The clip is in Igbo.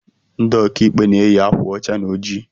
Ndị ọkàikpe na-eyi akwa ọcha na ojii